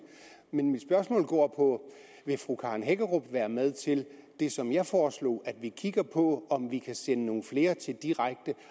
men mit spørgsmål går på vil fru karen hækkerup være med til det som jeg foreslog nemlig at vi kigger på om vi kan sende nogle flere til direkte